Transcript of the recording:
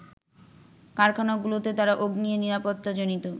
কারখানাগুলোতে তারা অগ্নি নিরাপত্তাজনিত